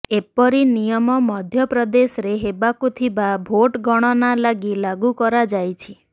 ଏପରି ନିୟମ ମଧ୍ୟପ୍ରଦେଶରେ ହେବାକୁ ଥିବା ଭୋଟଗଣନା ଲାଗି ଲାଗୁକରାଯାଇଛି